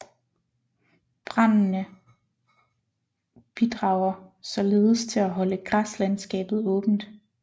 Brandene bidrager således til at holde græslandskabet åbent